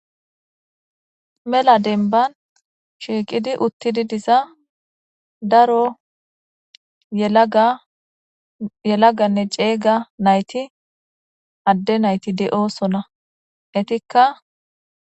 Mella dembban shiqqidi uutidi diiza daaro yeelaggane ceega nayti adde nayti de'ossona eetika....